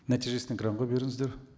нәтижесін экранға беріңіздер